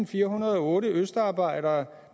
firehundrede og otte østarbejdere